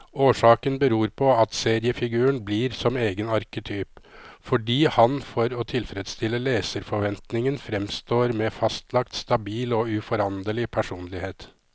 Årsaken beror på at seriefiguren blir som egen arketyp, fordi han for å tilfredstille leserforventningen framstår med fastlagt, stabil og uforanderlig personlighet.